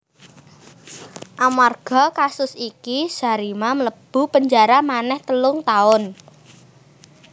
Amarga kasus iki Zarima mlebu penjara manéh telung taun